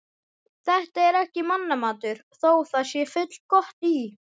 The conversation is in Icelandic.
Þetta er ekki mannamatur, þó það sé fullgott í